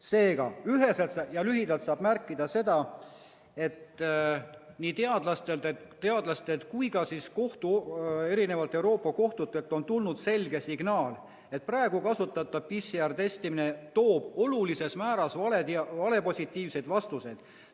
Seega, üheselt ja lühidalt saab märkida seda, et nii teadlastelt kui ka Euroopa eri kohtutelt on tulnud selge signaal, et praegu kasutatav PCR‑testimine annab olulises määras valed, valepositiivsed vastused.